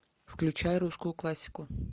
включай русскую классику